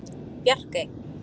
Bjarkey